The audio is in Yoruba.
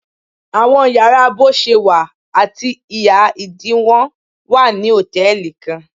Awọn yàrá boṣewa ati iha-idiwọn wa ni hòtẹ́ẹ̀lì kan.